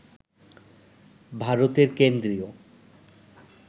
ভারতের কেন্দ্রীয়